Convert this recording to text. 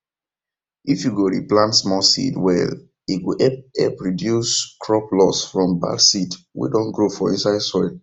if you go re plant small seed well e go help help reduce crop loss from bad seed wey don grow for inside soil